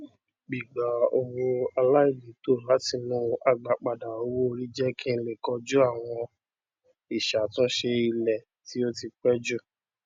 gbigba owó aláìlètò látinú agbápadà owóori jẹ kí n lè koju àwọn ìṣàtúnṣe ilé tí ó ti pé jù